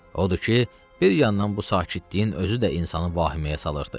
Odur ki, bir yandan bu sakitliyin özü də insanı vahiməyə salırdı.